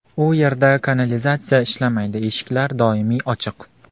U yerda kanalizatsiya ishlamaydi, eshiklar doimiy ochiq.